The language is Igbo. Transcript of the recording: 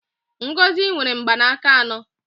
Ngozi nwere mgbanaka anọ